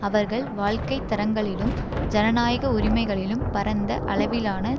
அவர்கள் வாழ்க்கை தரங்களிலும் ஜனநாயக உரிமைகளிலும் பரந்த அளவிலான